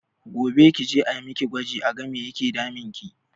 Gobe kije a miki gwaji a ga me yake damunki